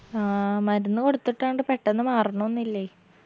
ആ മരുന്ന് കൊടുത്തട്ടൊണ്ട് പെട്ടന്നൊന്നും മാറുന്നൊന്നു ഇല്ലേയ്